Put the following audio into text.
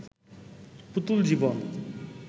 পুতুল জীবন